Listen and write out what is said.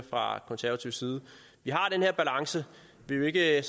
fra konservatives side vi har den her balance vi er